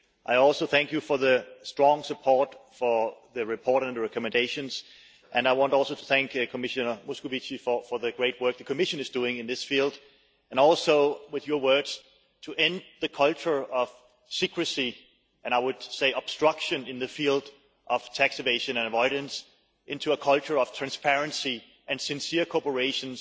I also appreciate the strong support for the report and recommendations and I want to thank Commissioner Moscovici for the great work the Commission is doing in this field and also in his words to end the culture of secrecy' and, I would say, obstruction in the field of taxation and avoidance and to create a culture of transparency and sincere corporation